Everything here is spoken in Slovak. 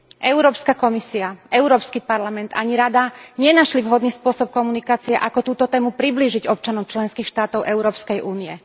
Európska komisia, Európsky parlament ani Rada nenašli vhodný spôsob komunikácie, ako túto tému priblížiť občanom členských štátov Európskej únie.